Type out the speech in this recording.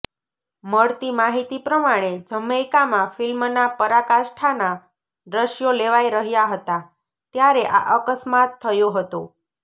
મળતી માહિતી પ્રમાણે જમૈકામાં ફિલ્મના પરાકાષ્ઠાનાં દ્રશ્યો લેવાઇ રહ્યાં હતાં ત્યારે આ અકસ્માત થયો હતો